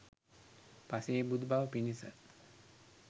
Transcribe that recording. පසේබුදු බව පිණිස